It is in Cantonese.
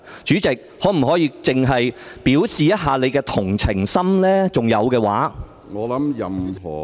主席，你可否表現一下同情心，假如你還有同情心的話？